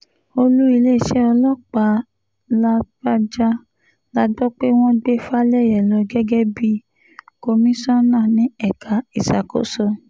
olú iléeṣẹ́ ọlọ́pàá làbàjá la gbọ́ pé wọ́n gbé falẹyé lọ gẹ́gẹ́ bíi komisanna ní ẹ̀ka ìṣàkóso